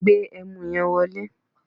Gbe ẹmu yẹn wọlé!